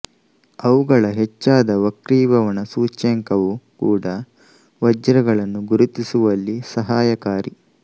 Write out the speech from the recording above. ಅವುಗಳ ಹೆಚ್ಚಾದ ವಕ್ರೀಭವನ ಸೂಚ್ಯಂಕವು ಕೂಡ ವಜ್ರಗಳನ್ನು ಗುರುತಿಸುವಲ್ಲಿ ಸಹಾಯಕಾರಿ